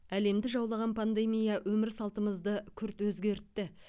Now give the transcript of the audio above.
әлемді жаулаған пандемия өмір салтымызды күрт өзгертті